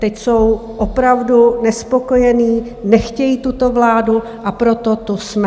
Teď jsou opravdu nespokojeni, nechtějí tuto vládu, a proto tu jsme.